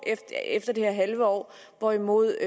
efter det her halve år hvorimod